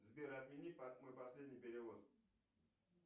сбер отмени мой последний перевод